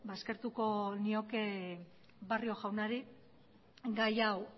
eskertuko nioke barrio jaunari gai hau